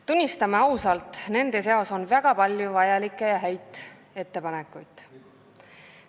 Tunnistame ausalt, nende seas on väga palju vajalikke ja häid ettepanekuid.